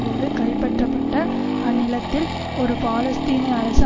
போது கைப்பற்றப்பட்ட அந்நிலத்தில் ஒரு பாலஸ்தீனிய அரசு